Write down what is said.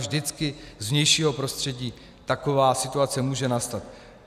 Vždycky z vnějšího prostředí taková situace může nastat.